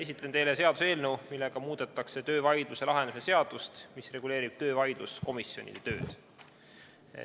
Esitlen teile seaduseelnõu, millega tahetakse muuta töövaidluse lahendamise seadust, mis reguleerib töövaidluskomisjonide tööd.